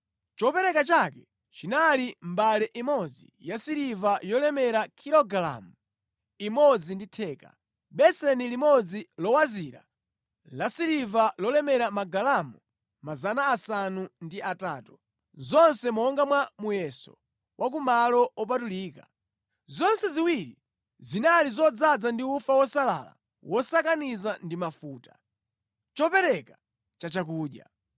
Chopereka chake chinali mbale imodzi yasiliva yolemera kilogalamu imodzi ndi theka, beseni limodzi lowazira lasiliva lolemera magalamu 800, zonse monga mwa muyeso wa ku malo opatulika; zonse ziwiri zinali zodzaza ndi ufa wosalala wosakaniza ndi mafuta, chopereka chachakudya.